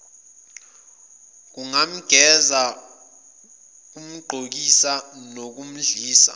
ukumgeza ukumgqokisa nokumdlisa